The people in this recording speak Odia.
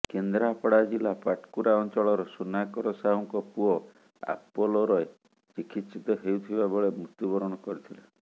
କେନ୍ଦ୍ରାପଡ଼ା ଜିଲ୍ଲା ପାଟକୁରା ଅଞ୍ଚଳର ସୁନାକର ସାହୁଙ୍କ ପୁଅ ଆପୋଲୋରେ ଚିକିତ୍ସିତ ହେଉଥିବା ବେଳେ ମୃତ୍ୟୁବରଣ କରିଥିଲେ